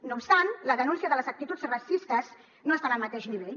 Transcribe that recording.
no obstant la denúncia de les actituds racistes no està en el mateix nivell